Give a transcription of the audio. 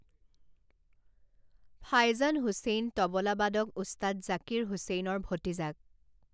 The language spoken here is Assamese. ফাইজান হুছেইন তবলা বাদক উস্তাদ জাকিৰ হুছেইনৰ ভতিজাক।